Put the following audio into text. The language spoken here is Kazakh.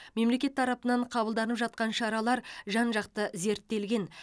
мемлекет тарпынан қабылданып жатқан шаралар жан жақты зерттелген